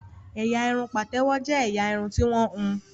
Ẹ̀yà irun pátèwọ jé ẹyà Irun ti wón hùn.